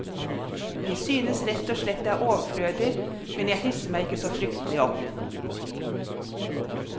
Vi synes rett og slett det er overflødig, men jeg hisser meg ikke så fryktelig opp.